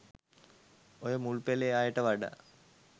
ඔය මුල්පෙලේ අයට වඩා